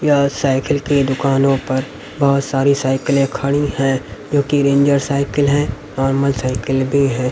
यह साइकिल की दुकानों पर बहोत सारी साइकिलें खड़ी है जो कि रेंजर साइकिल है नार्मल साइकिल भी है।